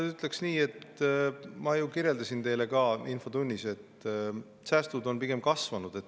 Ma ütlen nii, nagu ma ju kirjeldasin teile ka infotunnis, et säästud on pigem kasvanud.